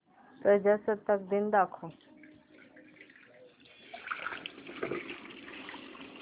प्रजासत्ताक दिन दाखव